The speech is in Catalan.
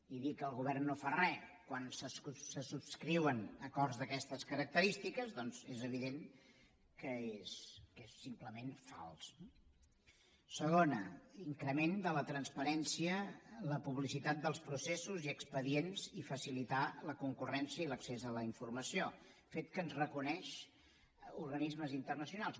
i dir que el govern no fa re quan se subscriuen acords d’aquestes característiques doncs és evident que és simplement fals no segona increment de la transparència la publicitat dels processos i expedients i facilitar la concurrència i l’accés a la informació fet que ens reconeixen organismes internacionals